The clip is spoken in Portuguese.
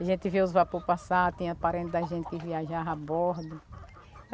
A gente vê os vapor passar, tem parentes da gente que viajava a bordo.